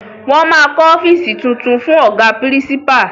Wọn máa kọ ọ́fíìsì tuntun fún Ọ̀gá pírísípà